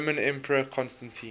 roman emperor constantine